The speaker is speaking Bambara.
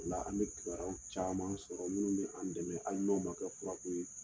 O la an bɛ kibaruyaw caman sɔrɔ minnu bɛ an dɛmɛ, ali n'o ma kɛ kurako ye